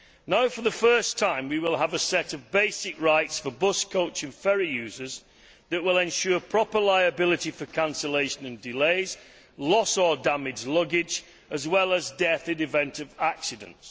Now, for the first time, we will have a set of basic rights for bus, coach and ferry users that will ensure proper liability for cancellation and delays, lost or damaged luggage, as well as death in the event of accidents.